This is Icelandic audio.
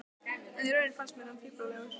En í raun fannst mér hann fíflalegur.